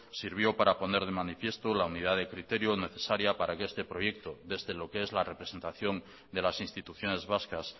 sirvió para poner de manifiesto la unidad de criterio necesaria para que este proyecto desde lo que es la representación de las instituciones vascas